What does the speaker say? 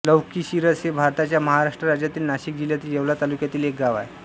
लौकीशिरस हे भारताच्या महाराष्ट्र राज्यातील नाशिक जिल्ह्यातील येवला तालुक्यातील एक गाव आहे